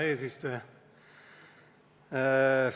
Hea eesistuja!